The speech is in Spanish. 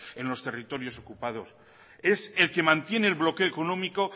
en los territorios ocupados es el que mantiene el bloqueo económico